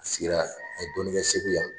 A sigira a ye dɔɔnnin kɛ Segu yan.